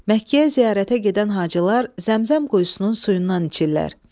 Məkkəyə ziyarətə gedən Hacılar Zəmzəm quyusunun suyundan içirlər.